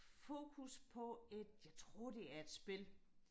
fokus på et jeg tror det er et spil